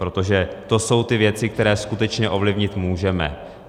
Protože to jsou ty věci, které skutečně ovlivnit můžeme.